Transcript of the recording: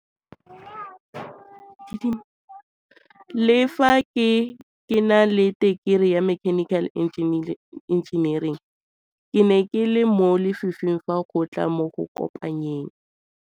Le fa ke ke na le tekerii ya mechanical engineering ke ne ke le mo lefifing fa go tla mo go kopanyeng